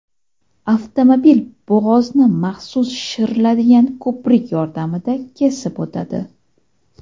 Avtomobil bo‘g‘ozni maxsus shishiriladigan ko‘prik yordamida kesib o‘tadi.